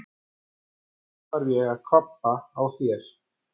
Og nú þarf ég að kvabba á þér!